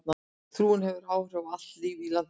Trúin hefur áhrif á allt líf í landinu.